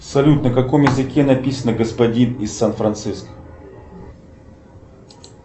салют на каком языке написано господин из сан франциско